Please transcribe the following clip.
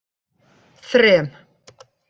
þrem